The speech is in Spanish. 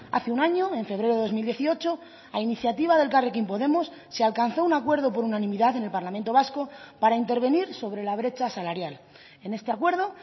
hace un año en febrero de dos mil dieciocho a iniciativa de elkarrekin podemos se alcanzó un acuerdo por unanimidad en el parlamento vasco para intervenir sobre la brecha salarial en este acuerdo